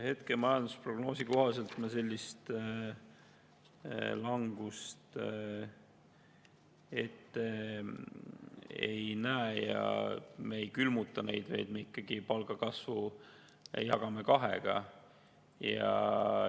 Hetke majandusprognoosi kohaselt me sellist langust ette ei näe ja me ei külmuta neid palku, vaid jagame palgakasvu kahega.